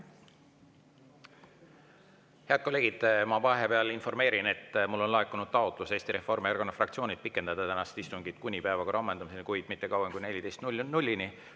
Head kolleegid, ma vahepeal informeerin, et mulle on laekunud taotlus Eesti Reformierakonna fraktsioonilt pikendada tänast istungit kuni päevakorra ammendumiseni, kuid mitte kauem kui 14.00‑ni.